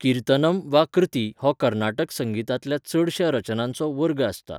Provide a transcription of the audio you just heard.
कीर्तनम् वा कृति हो कर्नाटक संगीतांतल्या चडश्या रचनांचो वर्ग आसता.